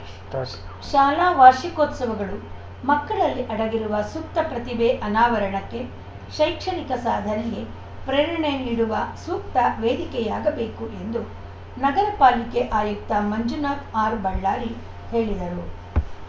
start ಶಾಲಾ ವಾರ್ಷಿಕೋತ್ಸವಗಳು ಮಕ್ಕಳಲ್ಲಿ ಅಡಗಿರುವ ಸುಪ್ತ ಪ್ರತಿಭೆ ಅನಾವರಣಕ್ಕೆ ಶೈಕ್ಷಣಿಕ ಸಾಧನೆಗೆ ಪ್ರೇರಣೆ ನೀಡುವ ಸೂಕ್ತ ವೇದಿಕೆಯಾಗಬೇಕು ಎಂದು ನಗರ ಪಾಲಿಕೆ ಆಯುಕ್ತ ಮಂಜುನಾಥ ಆರ್‌ಬಳ್ಳಾರಿ ಹೇಳಿದರು